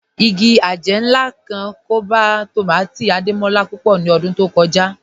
Ìgì ajẹ̀ náà kàn ọkọ̀ tómátì̀ Adémọlá púpọ̀ ní ọ̀dún tó kọja